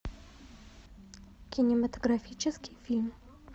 кинематографический фильм